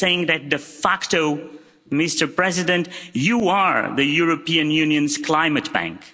I'm saying that de facto, Mr President, you are the European Union's climate bank.